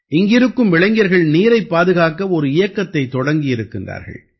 இங்கிருக்கும் இளைஞர்கள் நீரைப் பாதுகாக்க ஒரு இயக்கத்தைத் தொடக்கியிருக்கின்றார்கள்